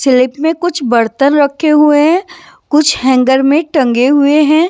Slip में कुछ बर्तन रखे हुए हैं कुछ हैंगर में टंगे हुए हैं।